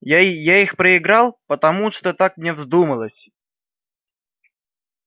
я их проиграл потому что так мне вздумалось